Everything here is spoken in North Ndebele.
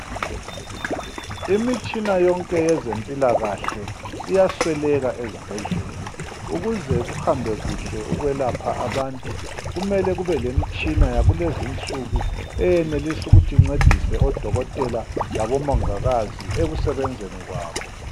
Imitshina yonke yezempilakahle iyasweleka ezibhedlela. Ukuze kuhambe kuhle ukwelapha abantu kumele kube lemitshina yakulezi insuku encedisa odokotela labomongikazi ekusebenzeni kwabo.